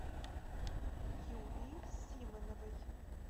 юлии симоновой